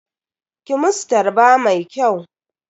Ki musu tarba mai kyau.